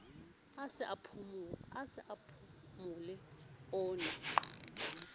a sa phomole o ne